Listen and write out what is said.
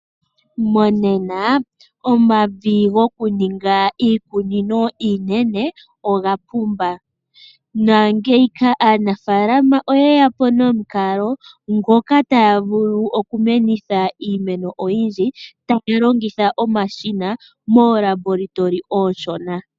Monena omavi gokuninga iikunino iinene oga pumba. Aanafaalama oye ya po nomukalo ngoka taya vulu okumenitha iimeno oyindji taku longithwa omashina moolabola oonshona.